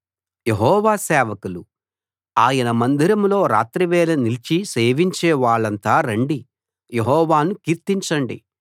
యెహోవా సేవకులు ఆయన మందిరంలో రాత్రివేళ నిలిచి సేవించే వాళ్ళంతా రండి యెహోవాను కీర్తించండి